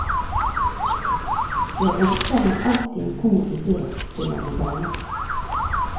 Jeg ønsker meg alltid en god idé til en novelle.